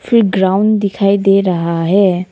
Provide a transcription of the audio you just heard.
एक ग्राउंड दिखाई दे रहा है।